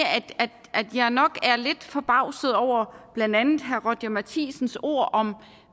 at jeg nok er lidt forbavset over blandt andet herre roger courage matthisens ord om et